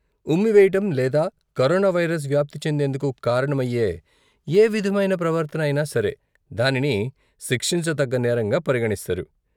ఉమ్మివేయటం, లేదా corona virus వ్యాప్తి చెందేందుకు కారణమయ్యే యే విధమైన ప్రవర్తన అయినా సరే దానిని శిక్షించతగ్గ నేరంగా పరిగణిస్తారు.